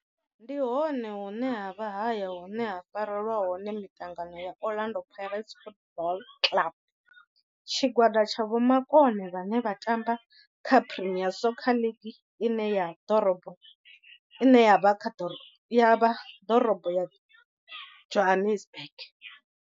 Ndi hone hune havha haya hune ha farelwa hone mitangano ya Orlando Pirates Football Club. Tshigwada tsha vhomakone vhane vha tamba kha Premier Soccer League ine ya vha Dorobo ya Johannesburg.